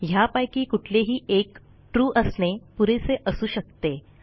ह्यापैकी कुठलेही एक ट्रू असणे पुरेसे असू शकते